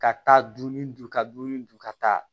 Ka taa dunun dun ka dumuni dun ka taa